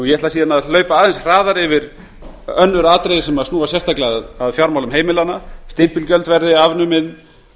ég ætla síðan að hlaupa aðeins hraðar yfir önnur atriði sem snúa sérstaklega að fjármálum heimilanna að stimpilgjöld verði afnumin